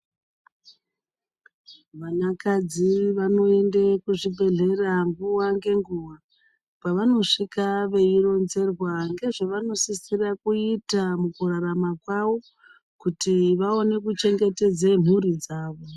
Vanakadzi vanoende kuzvibhedhlera nguwa ngenguwa kwavanosvika veironzerwa ngezvevanosisira kuita mukurarama kwavo kuti vaone kuchengetedzw mhuri dzawo.